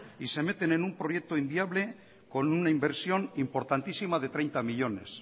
y se meten en un proyecto inviable con una inversión importantísima de treinta millónes